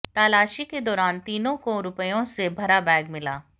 तलाशी के दौरान तीनों को रुपयों से भरा बैग मिला